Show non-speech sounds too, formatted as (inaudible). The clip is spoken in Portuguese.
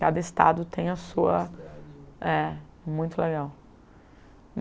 Cada estado tem a sua... (unintelligible) É, muito legal.